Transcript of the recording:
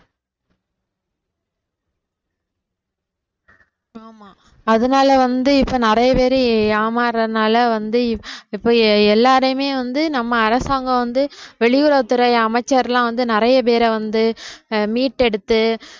ஆமா அதனால வந்து இப்ப நிறைய பேரு ஏமாறுறதுனால வந்து இப்ப எல்லாரையுமே வந்து நம்ம அரசாங்கம் வந்து வெளியுறவுத்துறை அமைச்சர்லாம் வந்து நிறைய பேரை வந்து ஆஹ் மீட்டெடுத்து